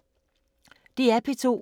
DR P2